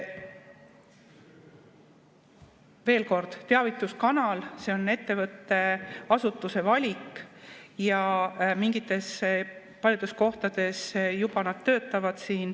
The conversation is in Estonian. Veel kord, teavituskanal on ettevõtte, asutuse valik ja paljudes kohtades juba need töötavad.